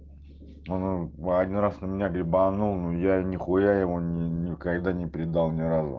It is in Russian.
а он один раз на меня грибанул но я нехуя его никогда не предал ни разу